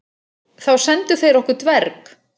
Þá sendu þeir okkur dverg.